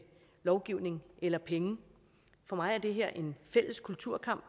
lovgivning eller penge for mig er det her en fælles kulturkamp